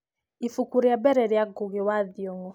ibuku rĩa mbere rĩa ngugi wa thiongo